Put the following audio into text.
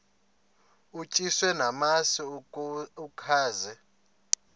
utyiswa namasi ukaze